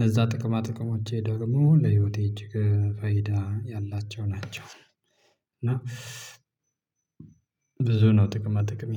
ለዛ ጥቅማ ጥቅሞቼ ደግሞ ለህይወቴ እጅግ ፈይዳ ያላቸው ናቸው። እና ብዙ ነው ጥቅማ ጥቅሜ